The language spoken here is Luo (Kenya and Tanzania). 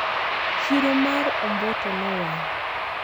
chiro mar omboto nowang